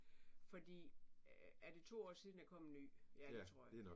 Fordi er det to år siden der kom en ny? Ja det tror jeg